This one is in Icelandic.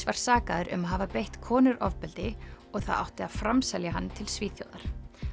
var sakaður um að hafa beitt konur ofbeldi og það átti að framselja hann til Svíþjóðar